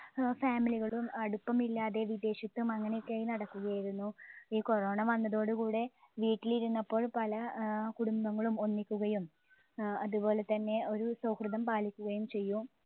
ഏർ family കളും അടുപ്പമില്ലാതെ വിദേശത്തും അങ്ങനെ ഒക്കെ ആയി നടക്കുക ആയിരുന്നു. ഈ corona വന്നതോട് കൂടെ വീട്ടിലിരുന്നപ്പോൾ പല ആഹ് കുടുംബങ്ങളും ഒന്നിക്കുകയും വ ഏർ അത് പോലെത്തന്നെ ഒരു സൗഹൃദം പാലിക്കുകയും ചെയ്യും